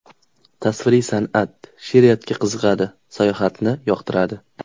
Tasviriy san’at, she’riyatga qiziqadi, sayohatni yoqtiradi.